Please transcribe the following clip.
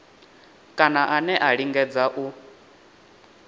kana ane a lingedza u